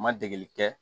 Ma degeli kɛ